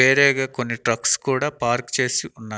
వేరేగా కొన్ని ట్రక్స్ కూడా పార్క్ చేసి ఉన్న--